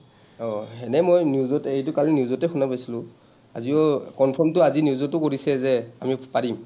অ, এনেই মই এইটো কালি news তে শুনা পাইছিলো। আজিও confirm টো আজি news তো কৰিছে যে আমি পাৰিম।